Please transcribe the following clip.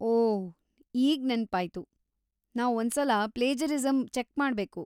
ಓಹ್‌, ಈಗ್‌ ನೆನ್ಪಾಯ್ತು, ನಾವ್‌ ಒಂದ್ಸಲ ಪ್ಲೇಜರಿಸಂ ಚೆಕ್ಮಾಡ್ಬೇಕು.